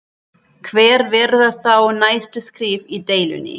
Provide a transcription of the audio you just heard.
Hver verða þá næstu skref í deilunni?